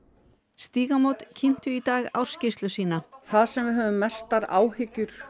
Stígamót kynntu í dag ársskýrsluna sína það sem við höfum mestar áhyggjur